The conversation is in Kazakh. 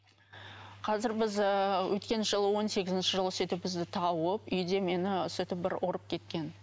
қазір біз ыыы өткен жылы он сегізінші жылы сөйтіп бізді тауып үйде мені сөйтіп бір ұрып кеткен